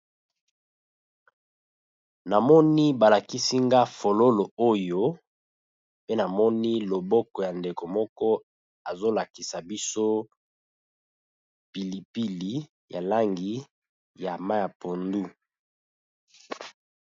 Na moni ba lakisi nga fololo oyo, pe namoni loboko ya ndeko moko azo lakisa biso pili pili ya langi ya mayi ya pondu.